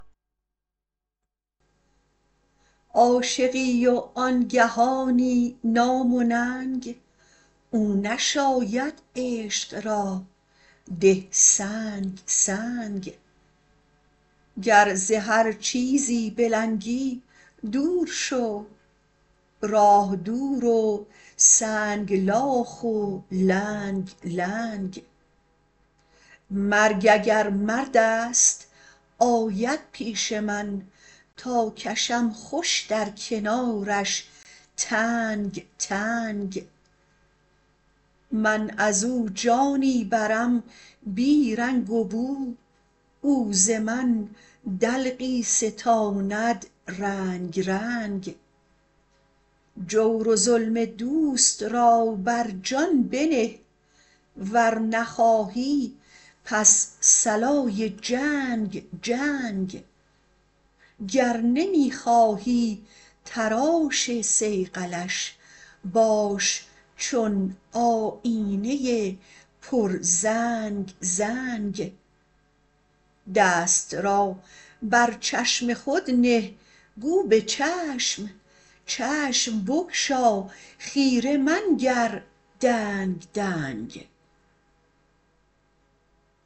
عاشقی و آن گهانی نام و ننگ او نشاید عشق را ده سنگ سنگ گر ز هر چیزی بلنگی دور شو راه دور و سنگلاخ و لنگ لنگ مرگ اگر مرد است آید پیش من تا کشم خوش در کنارش تنگ تنگ من از او جانی برم بی رنگ و بو او ز من دلقی ستاند رنگ رنگ جور و ظلم دوست را بر جان بنه ور نخواهی پس صلای جنگ جنگ گر نمی خواهی تراش صیقلش باش چون آیینه ی پرزنگ زنگ دست را بر چشم خود نه گو به چشم چشم بگشا خیره منگر دنگ دنگ